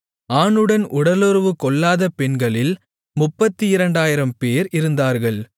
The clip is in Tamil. ஆணுடன் உடலுறவுக்கொள்ளாத பெண்களில் 32000 பேர் இருந்தார்கள்